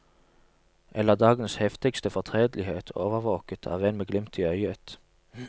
Eller dagens heftigste fortredelighet overvåket av en med glimt i øyet.